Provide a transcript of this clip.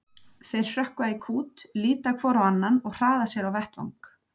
Þeir hrökkva í kút, líta hvor á annan og hraða sér á vettvang.